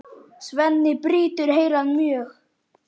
Svenni brýtur heilann mjög.